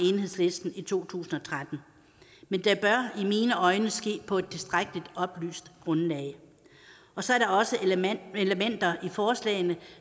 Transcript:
enhedslisten i to tusind og tretten men det bør i mine øjne ske på et tilstrækkeligt oplyst grundlag så er der også elementer i forslagene